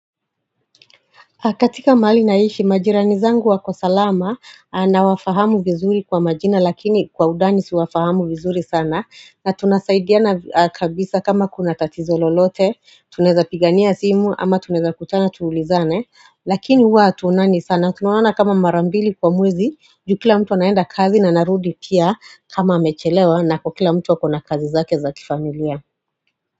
Katika mahali naishi majirani zangu wako salama nawafahamu vizuri kwa majina lakini kwa udani siwafahamu vizuri sana na tunasaidiana kabisa kama kuna tatizo lolote tuneza pigania simu ama tuneza kutana tuulizane lakini huwa hatuonani sana tunaonana kama marambili kwa mwezi juu kila mtu naenda kazi na narudi pia kama amechelewa na kukila mtu akona kazi zake za kifamilia.